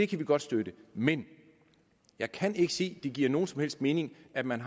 kan vi godt støtte men jeg kan ikke se det giver nogen som helst mening at man